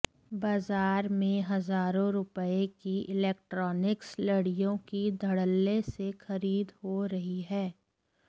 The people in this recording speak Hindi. बाजार में हज़ारों रुपए की इलेक्ट्रॉनिक्स लडि़यों की धड़ल्ले से खरीद हो रही है